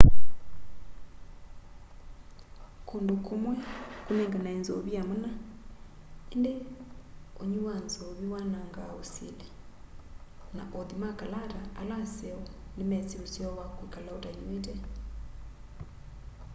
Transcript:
kundu kumwi kunenganae nzovi ya mana indi unywi wa nzovi wanangaa usili na othi ma kalata ala aseo ni mesi useo wa kwikala utanywite